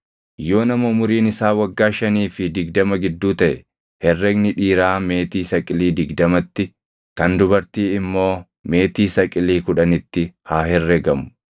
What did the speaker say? Yoo nama umuriin isaa waggaa shanii fi digdama gidduu taʼe, herregni dhiiraa meetii saqilii digdamatti, kan dubartii immoo meetii saqilii kudhanitti haa herregamu.